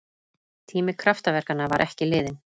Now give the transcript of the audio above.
Tími kraftaverkanna var ekki liðinn!